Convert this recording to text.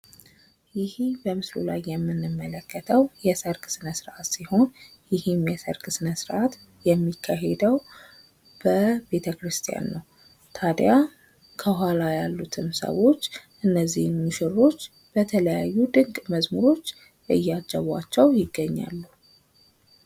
ይሄ ቀምስሉ ላይ የምንመለከተው የሰርግ ስነስርአት ሲሆን ይሄ የሰርግ ስነስርአት የሚካሄደው በቤተክርስቲያን ነው። ታዲያ ከኋላ ያሉትም ሰዎች እነዚህን ሙሽሮች የተለያዩ ደቀመዝሙሮች እያጀቧቸው ይገኛሉ።